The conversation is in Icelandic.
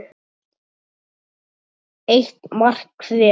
Eitt mark hver.